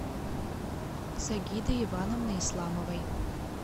сагиды ивановны исламовой